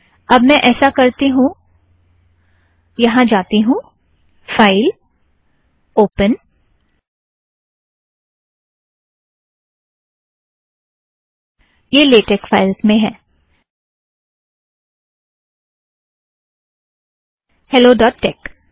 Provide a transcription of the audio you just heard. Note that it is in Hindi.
अब मैं ऐसा करती हूँ यहाँ जाती हूँ फ़ाइल - ओपन - यह लेटेक फ़ाइल्ज़ में है हैलो ड़ॉट टेक